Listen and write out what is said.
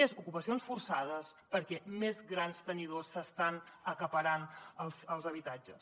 més ocupacions forçades perquè més grans tenidors estan acaparant els habitatges